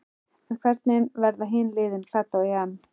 En hvernig verða hin liðin klædd á EM?